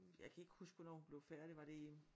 Jeg kan ikke huske hvornår hun blev færdig var det i